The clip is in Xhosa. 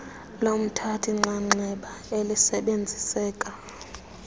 lomthathi nxxaxheba elisebenziseka